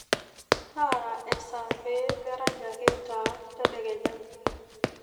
taara esaa pee merany ake taa tedekenya